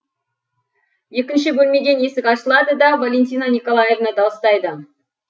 екінші бөлмеден есік ашылады да валентина николаевна дауыстайды